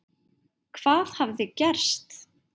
Hvað hafði gerst?